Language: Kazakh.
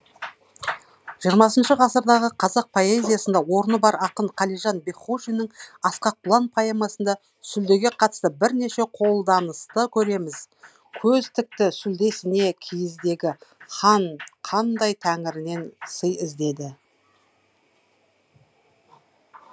жиырмасыншы ғасырдағы қазақ поэзиясында орны бар ақын қалижан бекхожиннің асқақ құлан поэмасында сүлдеге қатысты бірнеше қолданысты көреміз көз тікті сүлдесіне киіздегі хан қандай тәңірінен сый іздеді